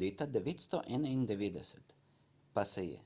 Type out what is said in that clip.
leta 991 pa se je